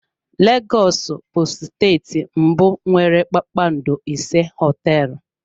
Lagos bụ steeti mbụ nwere kpakpando ise hoteelu.